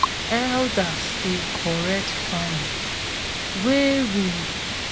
elders dey correct lyrics wey we miss for key farming instructions